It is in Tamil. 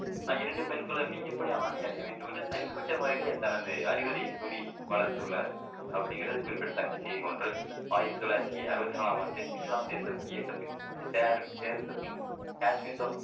இரண்டு பெண்களுமே எப்படி ஆடை அணிய வேண்டும் என்று தனிப்பட்ட முறையிலே தனது அறிவுரையை கூறி வளர்த்துள்ளார் அப்படிங்குறது குறிப்பிடத்தக்க செய்தி ஒன்று ஆயிரத்தி தொள்ளாயிரத்தி அறுவத்து நாலாம் ஆண்டு இஸ்லாம் தேசம் இயக்கத்தில் சார் சேர்ந்தப்பின்